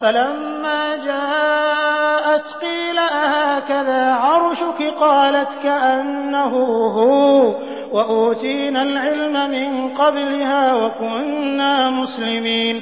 فَلَمَّا جَاءَتْ قِيلَ أَهَٰكَذَا عَرْشُكِ ۖ قَالَتْ كَأَنَّهُ هُوَ ۚ وَأُوتِينَا الْعِلْمَ مِن قَبْلِهَا وَكُنَّا مُسْلِمِينَ